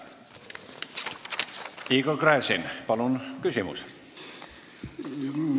Igor Gräzin, palun küsimus!